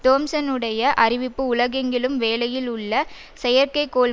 தோம்சனுடைய அறிவிப்பு உலகெங்கிலும் வேலையில் உள்ள செயற்கை கோள்